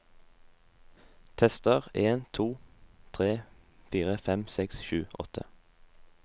Tester en to tre fire fem seks sju åtte